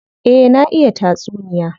Eh, na iya tatsuniya.